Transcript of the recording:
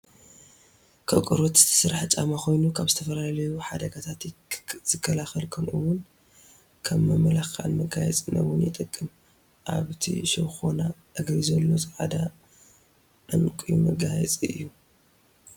ካብ ቆርበት ዝተሰርሐ ጫማ ኮይኑ ካብ ዝተፈላዩ ሓደጋታት ዝከላከል ከምኡ እውነ ከም መመላክዕን መጋየፅን እውን ይጠቅም ኣብቲ ሸኾና እግሪ ዘሎ ፃዕዳ ዕንቒ መጋየፂ እዩ።